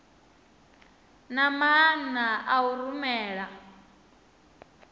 na maana a u rumela